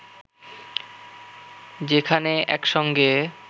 যেখানে একসঙ্গে